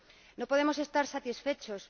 No podemos estar satisfechos.